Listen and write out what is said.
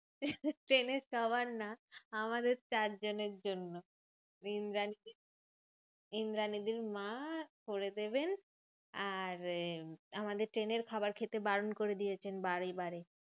ট্রেনে সবার না আমাদের চারজনের জন্য। ইন্দ্রানীদি ইন্দ্রানীদির মা করে দেবেন, আর এর আমাদের ট্রেনের খাবার খেতে বারণ করে দিয়েছেন বারে বারে।